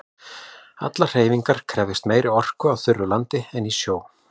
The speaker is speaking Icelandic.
Allar hreyfingar krefjast meiri orku á þurru landi en í sjó.